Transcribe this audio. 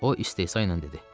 O istehza ilə dedi.